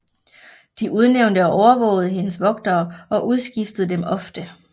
De udnævnte og overvågede hendes vogtere og udskiftede dem ofte